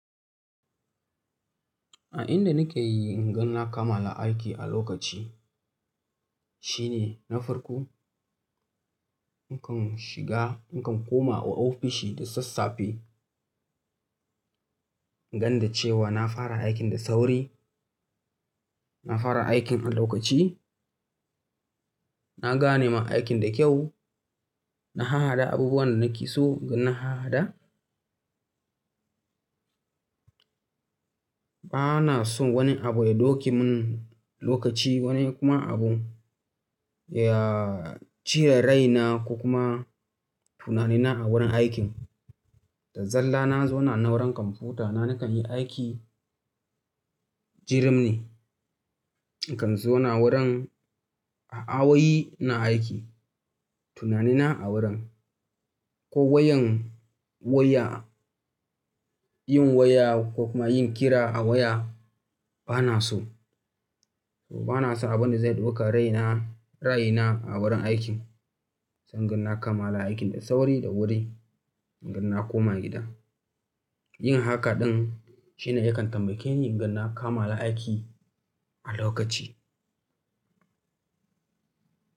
A inda nake yi inga na kammala aiki a lokaci shine na farko, nakan shiga, nakan koma ofishi da sassafe. Gani da cewa na fara aikin da sauri, na fara aikin a lokaci, na gane ma aikin da kyau, na hahaɗa abubuwan da nake so gan hahaɗa. Bana son wani abu ya ɗauke mun lokaci wani kuma abu ya cire rai na ko kuma tunani na a wurin aikin. Da zaran na zauna a wurin kwamfuta na nakan yi aiki, jirum ne. Nakan zauna wurin a'a wai na aiki. Tunani na a wurin. Ko yawan yin waya, ko kuma yin kira a waya bana so. Bana so abun da zai ɗauka rai na a wurin aikin. Zan gan na kammala aikin da sauri da wuri, gan na koma gida. Yin haka ɗin shine yakan tamakeni in ga na kammala aiki a lokaci.